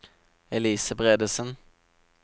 Elise Bredesen